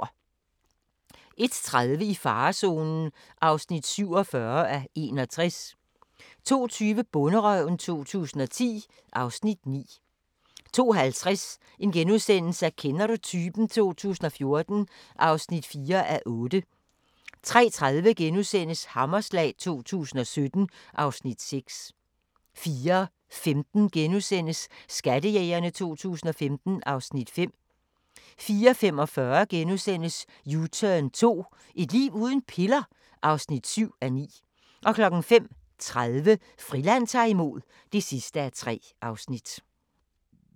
01:30: I farezonen (47:61) 02:20: Bonderøven 2010 (Afs. 9) 02:50: Kender du typen? 2014 (4:8)* 03:30: Hammerslag 2017 (Afs. 6)* 04:15: Skattejægerne 2015 (Afs. 5)* 04:45: U-turn 2 – Et liv uden piller? (7:9)* 05:30: Friland ta'r imod (3:3)